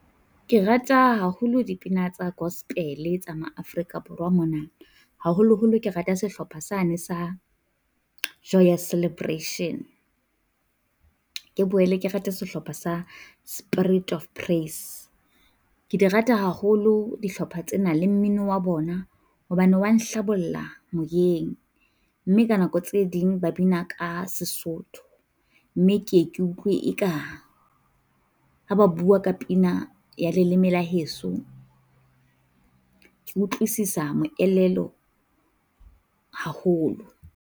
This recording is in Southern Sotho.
Ke rata haholo dipina tsa gospel tsa ma-Afrika Borwa mona, haholoholo ke rata sehlopha sane sa Joyous Celebration. Ke boele ke rate sehlopha sa Spirit of Praise. Ke di rata haholo dihlopha tsena le mmino wa bona, hobane wa hlabolla moyeng mme ka nako tse ding ba bina ka Sesotho, mme ke ye ke utlwe eka ha ba bua ka pina ya leleme la heso ke utlwisisa moelelo haholo.